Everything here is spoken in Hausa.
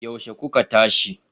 Yaushe kuka tashi?